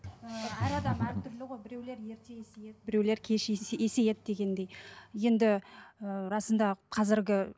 ыыы әр адам әртүрлі ғой біреулер ерте есейеді біреулер кеш есейеді дегендей енді ы расында қазіргі